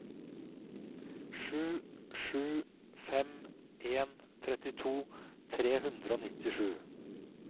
sju sju fem en trettito tre hundre og nittisju